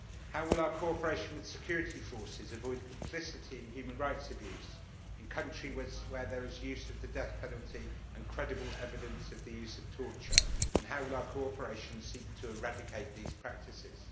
How will our cooperation with security forces avoid complicity in human rights abuses in countries where there is use of the death penalty and credible evidence of the use of torture, and how will our cooperation seek to eradicate these practices?